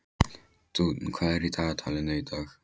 Dúnn, hvað er í dagatalinu í dag?